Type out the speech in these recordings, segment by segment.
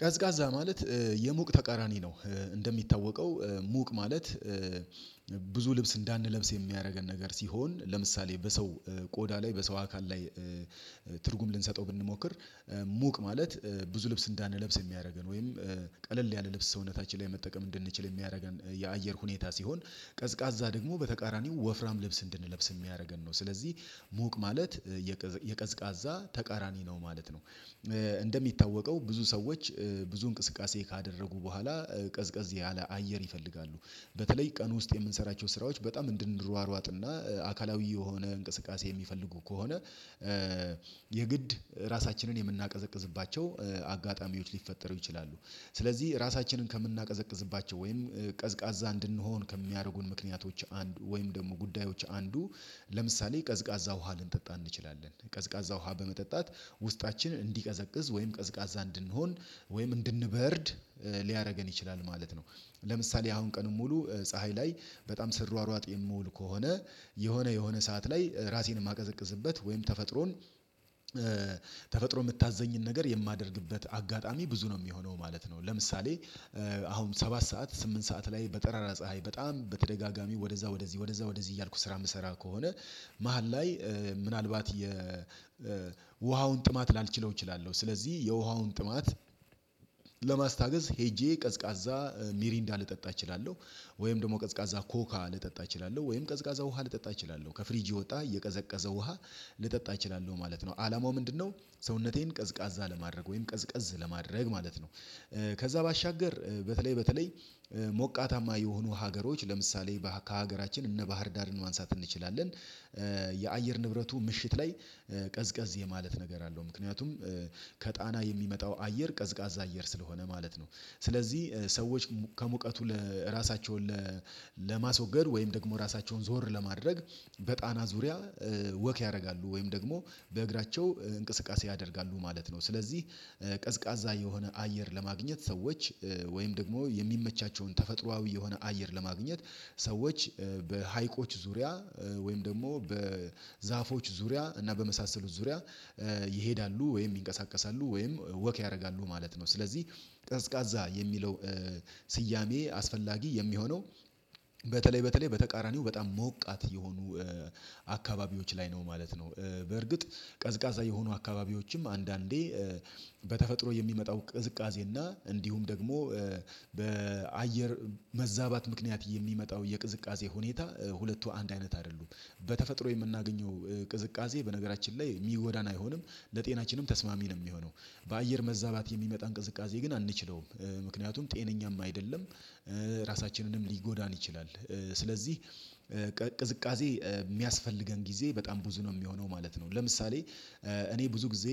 ቀዝቃዛ ማለት የሙቅ ተቃራኒ ነው። እንደሚታወቀው ሙቅ ማለት ብዙ ልብስ እንዳንለብስ የሚያደርገን ነገር ሲሆን ለምሳሌ በሰው ቆዳ ላይ በሰው አካል ላይ ትርጉም ልንሰጠው ብንሞክር ሙቅ ማለት ብዙ ልብስ እንዳንለብስ የሚያደርገን ወይም ቀለል ያለ ልብስ ሰውነታችን ላይ መጠቀም እንድንችል የሚያደርገን የአየር ሁኔታ ሲሆን ቀዝቃዛ ደግሞ በተቃራኒው ወፍራም ልብስ እንድንለብስ የሚያደርገን ነው ስለዚህ ሞቅ ማለት የቀዝቃዛ ተቃራኒ ነው ማለት ነው። እንደሚታወቀው ብዙ ሰዎች ብዙ እንቅስቃሴ ካደረጉ በኋላ ቀዝቀዝ ያለ አየር ይፈልጋሉ። በተለይ ቀን ውስጥ የምንሰራቸው ስራዎች በጣም እንድንሯሯጥና አካላዊ የሆነ እንቅስቃሴ የሚፈልጉ ከሆነ የግድ ራሳችንን የምናቀዘቅዝባቸው አጋጣሚዎች ሊፈጠሩ ይችላሉ። ስለዚህ ራሳችንን ከምናቀዘቅዝባቸው ወይም ቀዝቃዛ እንድንሆን ከሚያደርጉን ምክንያቶች አንዱ ወይም ደግሞ ጉዳዮች አንዱ ለምሳሌ ቀዝቃዛ ውሃ ልንጠጣ እንችላለን። ቀዝቃዛ ውሃ በመጠጣት ውስጣችን እንዲቀዘቅዝ ወይም ቀዝቃዛ እንድንሆን ወይም እንድንበርድ ሊያደርገን ይችላል ማለት ነው። ለምሳሌ አሁን ቀኑን ሙሉ ፀሀይ ላይ በጣም ስሯሯጥ የምውል ከሆነ የሆነ የሆነ ሰዓት ላይ ራሴን የማቀዘቅዝበት ወይም ተፈጥሮን ተፈጥሮ የምታዘኝን ነገር የማደርግበት አጋጣሚ ብዙ ነው የሚሆነው ማለት ነው። ለምሳሌ አሁን ሰባት ሰዓት ስምንት ሰዓት ላይ በጠራራ ፀሀይ በጣም በተደጋጋሚ ወደዛ ወደዚህ ወደዛ ወደዚህ እያልኩ ስራ የምሰራ ከሆነ መሃል ላይ ምናልባት የውሃውን ጥማት ላልችለው እችላለሁ፤ ስለዚህ የውሃውን ጥማት ለማስታገስ ሄጄ ቀዝቃዛ ሚሪንዳ ልጠጣ እችላለሁ፤ ወይም ደግሞ ቀዝቃዛ ኮካ ልጠጣ እችላለሁ፤ ወይም ቀዝቃዛ ውሃ ልጠጣ እችላለሁ። ከፍሪጅ የወጣ እየቀዘቀዘ ውሃ ልጠጣ እችላለሁ ማለት ነው። አላማው ምንድነው ሰውነቴን ቀዝቃዛ ለማድረግ ወይም ቀዝቀዝ ለማድረግ ማለት ነው። ከዛ ባሻገር በተለይ በተለይ ሞቃታማ የሆኑ ሀገሮች ለምሳሌ በሃ ከሀገራችን እነ ባህር ዳርን ማንሳት እንችላለን የአየር ንብረቱ ምሽት ላይ ቀዝቀዝ የማለት ነገር አለው፤ ምክንያቱም ከጣና የሚመጣው አየር ቀዝቃዛ አየር ስለሆነ ማለት ነው፤ ስለዚህ ሰዎች ከሙቀቱ ለ ራሳቸውን ለማስወገድ ወይም ደግሞ ራሳቸውን ዞር ለማድረግ በጣና ዙሪያ ወክ ያደርጋሉ ወይም ደግሞ በእግራቸው እንቅስቃሴ ያደርጋሉ ማለት ነው፤ ስለዚህ ቀዝቃዛ የሆነ አየር ለማግኘት ሰዎች ወይም ደግሞ የሚመቻቸውን ተፈጥሮአዊ የሆነ አየር ለማግኘት ሰዎች በሀይቆች ዙሪያ ወይም ደግሞ በዛፎች ዙሪያ እና በመሳሰሉት ዙሪያ ይሄዳሉ ወይም ይንቀሳቀሳሉ ወይም ወክ ያደርጋሉ ማለት ነው፤ ስለዚህ ቀዝቃዛ የሚለው ስያሜ አስፈላጊ የሚሆነው በተለይ በተለይ በተቃራኒው በጣም ሞቃት የሆኑ አካባቢዎች ላይ ነው ማለት ነው። በእርግጥ ቀዝቃዛ የሆኑ አካባቢዎችም አንዳንዴ በተፈጥሮ የሚመጣው ቅዝቃዜ እና እንዲሁም ደግሞ በአየር መዛባት ምክንያት የሚመጣው የቅዝቃዜ ሁኔታ ሁለቱ አንድ አይነት አይደሉም። በተፈጥሮ የምናገኘው ቅዝቃዜ በነገራችን ላይ የሚጎዳን አይሆንም ለጤናችንም ተስማሚ ነው የሚሆነው። በአየር መዛባት የሚመጣን ቅዝቃዜ ግን አንችለውም፤ ምክንያቱም ጤነኛም አይደለም ራሳችንንም ሊጎዳን ይችላል፤ ስለዚህ ቅዝቃዜ የሚያስፈልገን ጊዜ በጣም ብዙ ነው የሚሆነው ማለት ነው። ለምሳሌ እኔ ብዙ ጊዜ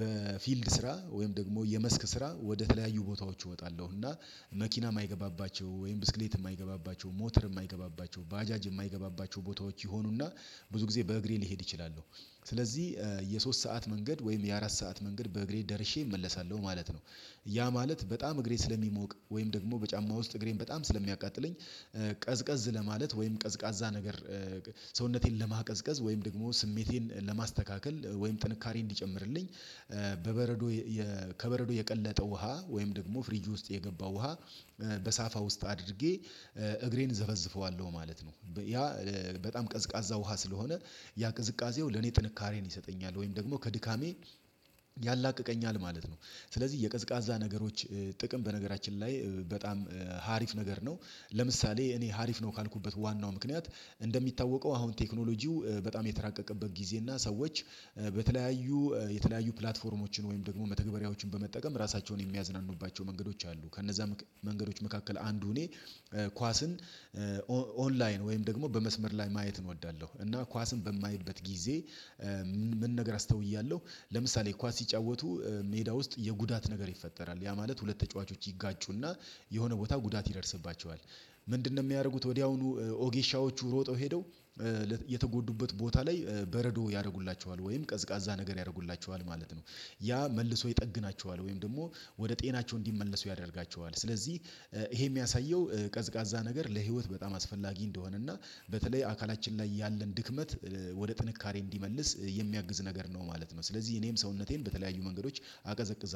በፊልድ ስራ ወይም ደግሞ የመስክ ስራ ወደ ተለያዩ ቦታዎች እወጣለሁ፤ እና መኪናም ማይገባባቸው ወይም ብስክሌት ማይገባባቸው፣ ሞተር የማይገባባቸው፣ ባጃጅ የማይገባባቸው ቦታዎች ይሆኑና ብዙ ጊዜ በእግሬ ልሄድ እችላለሁ። ስለዚህ የሶስት ሰዓት መንገድ ወይም የአራት ሰዓት መንገድ በእግሬ ደርሼ እመለሳለሁ ማለት ነው። ያ ማለት በጣም እግሬ ስለሚሞቅ ወይም ደግሞ በጫማ ውስጥ እግሬን በጣም ስለሚያቃጥለኝ ቀዝቀዝ ለማለት ወይም ቀዝቃዛ ነገር ሰውነቴን ለማቀዝቀዝ ወይም ደግሞ ስሜቴን ለማስተካከል ወይም ጥንካሬ እንዲጨምርልኝ በበረዶ የ ከበረዶ የቀለጠ ውሃ ወይም ደግሞ ፍሪጁ ውስጥ የገባው ውሃ በሳፋ ውስጥ አድርጌ እግሬን ዘፈዝፈዋለሁ ማለት ነው። ያ በጣም ቀዝቃዛ ውሃ ስለሆነ ያ ቅዝቃዜው ለኔ ጥንካሬን ይሰጠኛል ወይም ደግሞ ከድካሜ ያላቅቀኛል ማለት ነው። ስለዚህ የቀዝቃዛ ነገሮች ጥቅም በነገራችን ላይ በጣም ሀሪፍ ነገር ነው። ለምሳሌ እኔ ሀሪፍ ነው ካልኩበት ዋናው ምክንያት እንደሚታወቀው አሁን ቴክኖሎጂው በጣም የተራቀቀበት ጊዜ እና ሰዎች በተለያዩ የተለያዩ ፕላትፎርሞችን ወይም ደግሞ መተግበሪያዎችን በመጠቀም ራሳቸውን የሚያዝናኑባቸው መንገዶች አሉ ከነዛ መንገዶች መካከል አንዱ እኔ ኳስን ኦንላይን ወይም ደግሞ በመስመር ላይ ማየትን ወዳለሁ። እና ኳስን በማይበት ጊዜ ምን ነገር አስተውያለሁ። ለምሳሌ ኳስ ሲጫወቱ ሜዳ ውስጥ የጉዳት ነገር ይፈጠራል። ያ ማለት ሁለት ተጫዋቾች ይጋጩና የሆነ ቦታ ጉዳት ይደርስባቸዋል። ምንድነው የሚያደርጉት ወዲያውኑ ወጌሻዎቹ ሮጠው ሄደው የተጎዱበት ቦታ ላይ በረዶ ያደርጉላቸዋል ወይም ቀዝቃዛ ነገር ያደርጉላቸዋል ማለት ነው። ያ መልሶ ይጠግናቸዋል ወይም ደግሞ ወደ ጤናቸው እንዲመለሱ ያደርጋቸዋል። ስለዚህ ይሄ የሚያሳየው ቀዝቃዛ ነገር ለህይወት በጣም አስፈላጊ እንደሆነ እና በተለይ አካላችን ላይ ያለን ድክመት ወደ ጥንካሬ እንዲመልስ የሚያግዝ ነገር ነው ማለት ነው። ስለዚህ እኔም ሰውነቴን በተለያዩ መንገዶች አቀዘቅዛለሁ።